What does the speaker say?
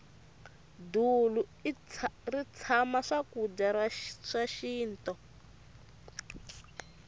dulu ri tshama swakudya swa xinto